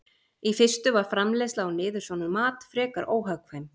Í fyrstu var framleiðsla á niðursoðnum mat frekar óhagkvæm.